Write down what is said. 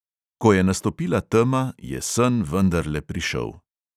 Ko je nastopila tema, je sen vendarle prišel.